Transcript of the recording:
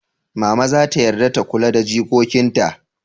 Mama zata yarda ta kula da jikokin ta?